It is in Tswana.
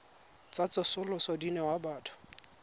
tsa tsosoloso di newa batho